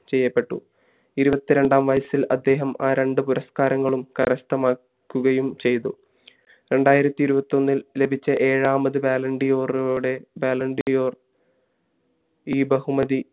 ചെയ്യപ്പെട്ടു ഇരുവത്തി രണ്ടാം വയസ്സിൽ അദ്ദേഹം ആ രണ്ട പുരസ്കാരങ്ങളും കരസ്ഥമാക്കുകയും ചയ്തു രണ്ടായിരത്തി ഇരുവത്തി ഒന്നിൽ ലഭിച്ച ഏഴാമത് ballon d'or ഓടെ ballon d' or ഈ ബഹുമതി